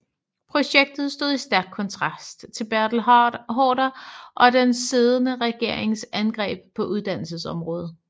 Projektet stod i stærk kontrast til Bertel Haarder og den siddende regerings angreb på uddannelsesområdet